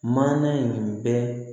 Maana in bɛ